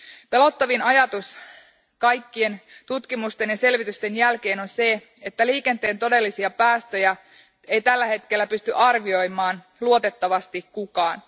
Pelottavin ajatus kaikkien tutkimusten ja selvitysten jälkeen on se, että liikenteen todellisia päästöjä ei tällä hetkellä pysty arvioimaan luotettavasti kukaan.